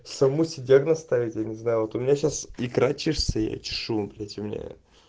самому себе диагноз ставить я не знаю вот у меня сейчас икра чешется я чешу блять у меня